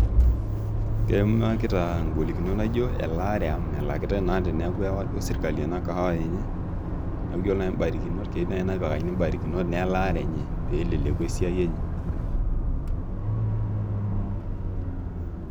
Keimakita ngolinot naijo elaare amu melakitae naa teniaku ewa sirkali enakahawa enye niaku ore nai imbarkinot keyieu naji nepikakini imbarikinot elaare peleleku esiai enye.